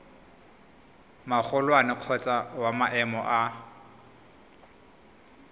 magolwane kgotsa wa maemo a